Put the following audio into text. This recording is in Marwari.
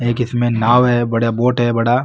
एक इसमें नाव है बड़ा बोट है बड़ा --